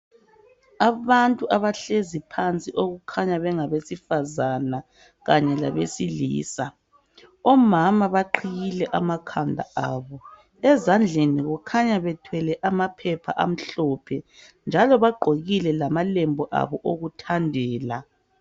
Abantu abahlezi phansi okukhanya bengabesifazana kanye labesilisa. Omama baqhiyile amakhanda abo ezandleni kukhanya bethwele amaphepha amhlophe njalo bagqokile lamalembu abo okuthandela.